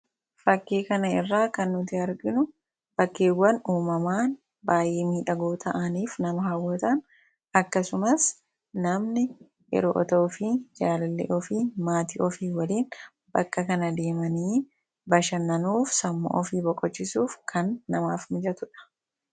fakkii kana irraa kan nuti arginu bakkeewwan uumamaan baayyee miidhagoo ta'aniif nama haawwataan akkasumas namni otoo ufii jaalali ofii maatii ofii waliin bakka kana deemanii bashannanuuf sammuu ofii boqochisuuf kan namaaf mijatudha